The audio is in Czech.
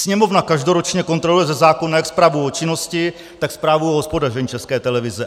Sněmovna každoročně kontroluje ze zákona jak zprávu o činnosti, tak zprávu o hospodaření České televize.